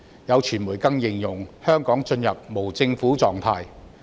有傳媒更形容，香港進入了"無政府狀態"。